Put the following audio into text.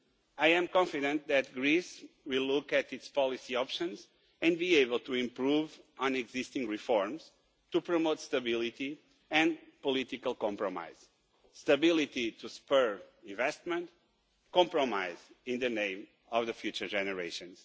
I am confident that Greece will look at its policy options and be able to improve on existing reforms to promote stability and political compromise stability to spur investment, compromise in the name of future generations.